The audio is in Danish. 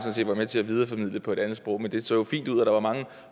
var med til at videreformidle på et andet sprog men det så jo fint ud og der var mange